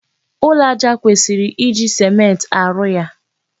Ụlọ aja kwesịrị iji sèmenti arụ ya.